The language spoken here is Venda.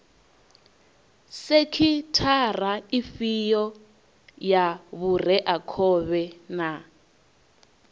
sekhithara ifhio ya vhureakhovhe na